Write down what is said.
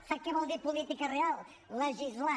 sap què vol dir política real legislar